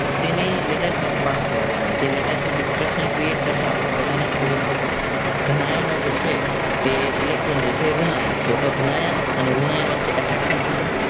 તેને latize માંથી પાસ થવા દેવાનું છે તે latize માં destruction create કરશે આપણને બધાને જ ખબર છે ધન આયનો જે છે જે electron છે એ ઋણ આયન છે તો ધન આયન અને ઋણ આયન વચ્ચે attraction થશે.